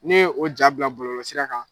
N'e ye o ja bila bɔlɔlɔsira kan